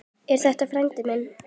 Er þetta frændi minn?